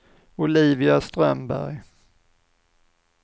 Olivia Strömberg